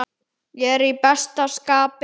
Ég er í besta skapi.